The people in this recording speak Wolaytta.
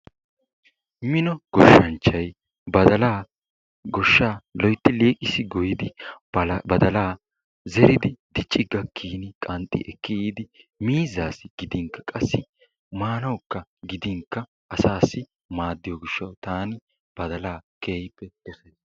Mino gooshanchchay badalaa gooshshaa loytti liiqisi gooyyidi badalaa zeeridi diicci gaakkini qanxxi ekki yiidi miizzaasi giidinkka qassi maanayoo gidinkka asaassi maadiyoo giishshawu taani badalaa keehippe dosays.